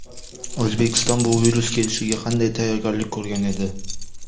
O‘zbekiston bu virus kelishiga qanday tayyorgarlik ko‘rgan edi?